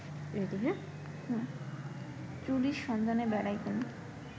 চুরির সন্ধানে বেড়াইতেন